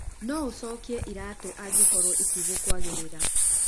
No ũcokie iraatũ angĩkorũo itigũkwagĩrira.